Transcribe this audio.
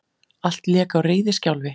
Allt lék á reiðiskjálfi.